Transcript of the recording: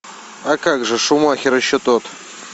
а как же шумахер еще тот